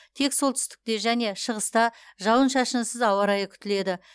тек солтүстікте және шығыста жауын шашынсыз ауа райы күтіледі